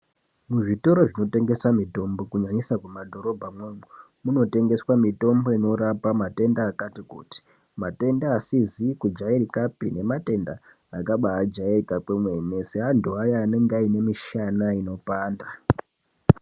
Kuzvitoro zvinotengesa mitombo kunyanyisa mumadhorobhamwo kunotengeswa Mitombo inorapa matenda akati kuti matenda asizi kujairika pee nematenda akabaa jairika kwemene seantu aya anenge aine mishana inopanda.